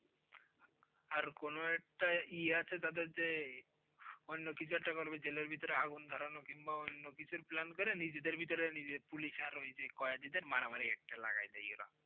আর কোন একটা ইএ আছে যাদের যে অন্যকিছু একটা করবে, জেলের ভিতরে আগুন ধরানো কিংবা অন্যকিছু Plan করে নিজেদের ভিতরে Police আর ওই যে কয়েদিদের মারামারি একটা লাগায়ে দেয় ওরা।